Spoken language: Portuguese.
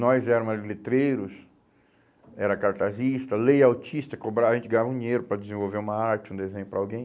Nós éramos letreiros, era cartazistas, layoutistas, cobrava, a gente ganhava dinheiro para desenvolver uma arte, um desenho para alguém.